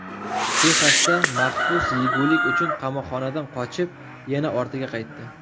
Texasda mahbus yegulik uchun qamoqxonadan qochib, yana ortiga qaytdi.